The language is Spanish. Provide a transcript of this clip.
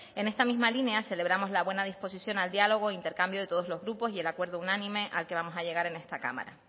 en esta misma línea celebramos la buena disposición al diálogo e intercambio de todos los grupos y el acuerdo unánime al que vamos a llegar en esta cámara